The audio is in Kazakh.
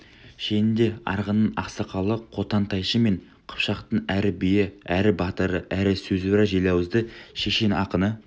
шенінде арғынның ақсақалы қотан тайшы мен қыпшақтың әрі биі әрі батыры әрі сөзуар желауызды шешен-ақыны